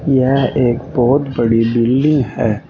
यह एक बहुत बड़ी बिल्डिंग है।